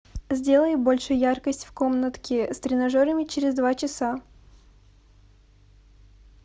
сделай больше яркость в комнатке с тренажерами через два часа